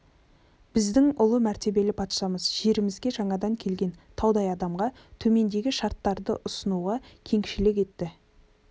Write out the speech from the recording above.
біздің ұлы мәртебелі патшамыз жерімізге жаңадан келген таудай адамға төмендегі шарттарды ұсынуға кеңшілік етті